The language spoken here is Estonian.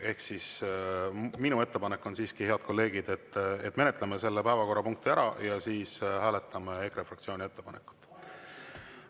Ehk siis minu ettepanek on siiski, head kolleegid, et menetleme selle päevakorrapunkti ära ja siis hääletame EKRE fraktsiooni ettepanekut.